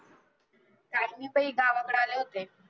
काही नाही बाई गावाकडे आले होते